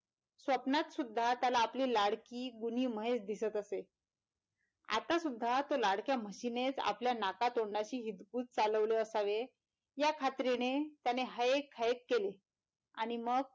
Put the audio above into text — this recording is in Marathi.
स्वप्नात सुद्धा आपली लाडकी गुणी म्हैस दिसत असे आत्ता सुद्धा तो लाडक्या म्हशीने च आपल्या नाका दोंडाशी हितगुज चालवले असावे या खात्रीने त्याने हायेक हायेक केले आणि मग,